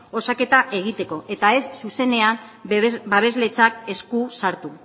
osaketa egiteko eta ez zuzenean babesletzat esku sartu